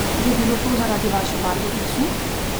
Je bilo to zaradi vaše barve glasu?